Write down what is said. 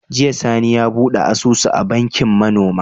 Jiya sani ya buɗe asusu a bankin ma noma